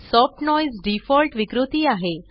soft noise default विकृती आहे